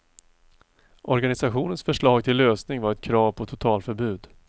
Organisationens förslag till lösning var ett krav på totalförbud.